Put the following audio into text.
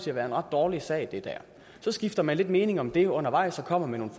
at være en ret dårlig sag og så skifter man lidt mening om det undervejs og kommer med nogle